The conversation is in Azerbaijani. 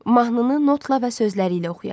Mahnını notla və sözləri ilə oxuyaq.